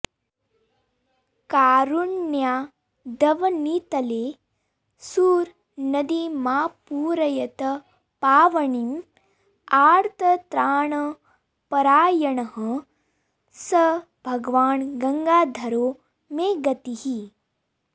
कारुण्यादवनीतले सुरनदीमापूरयतपावनीं आर्तत्राणपरायणः स भगवान् गङ्गाधरो मे गतिः